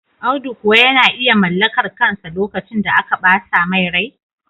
Audu kuwa yana iya mallakar kansa lokacin da aka bata mai rai?